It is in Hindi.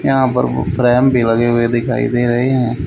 यहां पर वो रैम भी लगे हुए दिखाई दे रहे हैं।